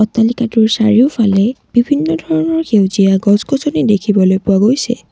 অট্টালিকাটোৰ চাৰিওফালে বিভিন্ন ধৰণৰ সেউজীয়া গছ গছনি দেখিবলৈ পোৱা গৈছে।